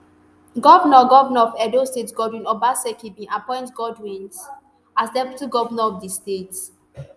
govnor govnor of edo state godwin obaseki bin appoint godwins as deputy govnor of di state